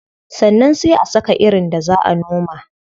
Sannan sai a saka irin da zaa a noma.